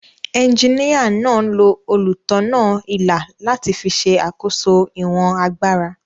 Ejiníyà náà lo olùtọ̀nà-ilà láti fi ṣe àkóso ìwọ̀n agbára